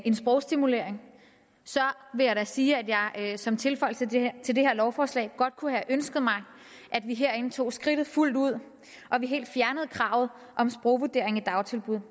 en sprogstimulering vil jeg da sige at jeg som tilføjelse til det her lovforslag godt kunne have ønsket mig at vi herinde tog skridtet fuldt ud og helt fjernede kravet om sprogvurdering i dagtilbud